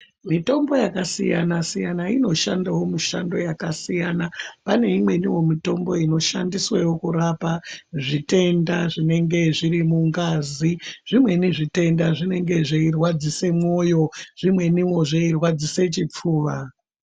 Mitombo yakasiyana siyana inoshandawo mishando yakasiyana. Pane imweniwo mitombo inoshandiswe kurapa zvitenda zvinenge zvirimungazi, zvimweni zvitenda zvinenge zveirwadzise mwoyo zvimweniwo zveirwadzise chipfuva.